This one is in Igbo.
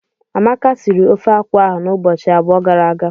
Amaka sịrị ofeakwụ ahụ n'ụbọchị abụọ gara aga.